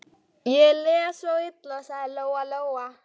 Ég les svo illa, sagði Lóa-Lóa.